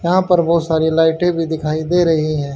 यहां पर बहुत सारी लाइटें भी दिखाई दे रही हैं।